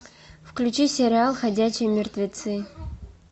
включи сериал ходячие мертвецы